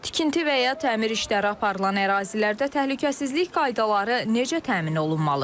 Tikinti və ya təmir işləri aparılan ərazilərdə təhlükəsizlik qaydaları necə təmin olunmalıdır?